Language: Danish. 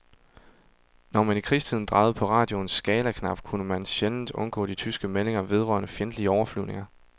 Når man i krigstiden drejede på radioens skalaknap, kunne man sjældent undgå de tyske meldinger vedrørende fjendtlige overflyvninger.